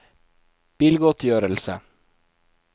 bilgodtgjørelse